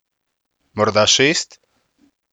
Morda šest?